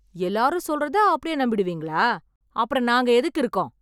எல்லாரும் சொல்றத அப்படியே நம்பிடுவீங்களா? அப்பறம் நாங்க எதுக்கு இருக்கோம்?